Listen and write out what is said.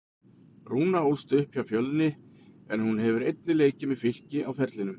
Rúna ólst upp hjá Fjölni en hún hefur einnig leikið með Fylki á ferlinum.